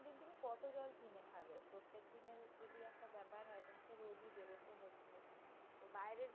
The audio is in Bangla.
আমাকে রোজই বের হতে হচ্ছে । তো বাইরের